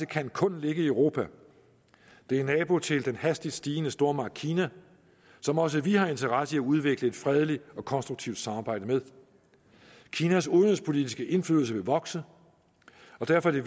kan kun ligge i europa det er nabo til den hastigt stigende stormagt kina som også vi har interesse i at udvikle et fredeligt og konstruktivt samarbejde med kinas udenrigspolitiske indflydelse vil vokse og derfor er